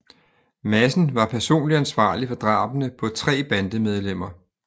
Madsen var personligt ansvarlig for drabene på tre bandemedlemmer